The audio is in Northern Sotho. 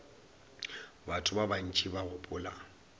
batho ba bantši ba gopola